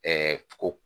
ko